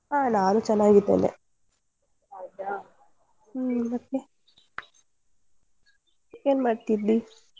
ಹಾ ನಾನು ಚೆನ್ನಾಗಿದ್ದೇನೆ ಹ್ಮ್ ಮತ್ತೆ ಮತ್ತೆ ಏನ್ಮಾಡ್ತಿದ್ದಿ?